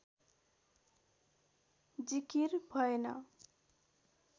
जिकिर भएन